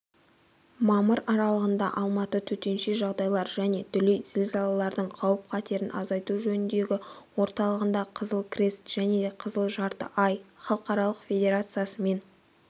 мамыр аралығында алматы төтенше жағдайлар және дүлей зілзалалардың қауіп-қатерін азайту жөніндегі орталығында қызыл крест және қызыл жарты ай халықаралық федерациясымен